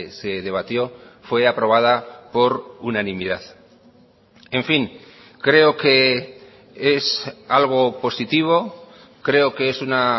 se debatió fue aprobada por unanimidad en fin creo que es algo positivo creo que es una